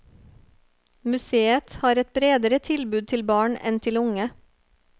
Museet har et bredere tilbud til barn enn til unge.